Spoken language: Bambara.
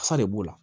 Fa de b'o la